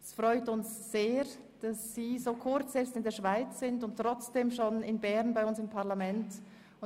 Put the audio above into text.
Es freut uns sehr, dass Sie bereits das Berner Parlament besuchen, obwohl Sie erst seit Kurzem in der Schweiz sind.